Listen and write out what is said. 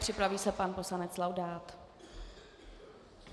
Připraví se pan poslanec Laudát.